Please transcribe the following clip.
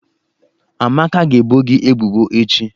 Amaka ga-ebo gi ebubo echi.